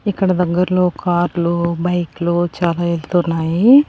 ఇక్కడ దగ్గర్లో కార్లు బైక్లు చాలా ఎల్తున్నాయి.